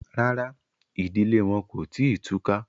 Rárá, ìdílé wọn kò tí ì túká